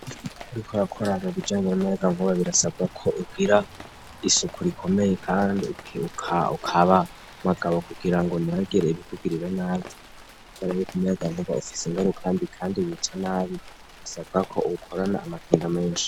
Biko rakoraro bujanye namayaga nkuba birasabwa ko ugira isuku rikomeye, kandi ukaba magabo kugira ngo ntibagereye ibikugirira nabi kob aragikumuyaga nguba ufise ingarukambi, kandi bica nabi bisabwa ko uwukorana amakinga menshi.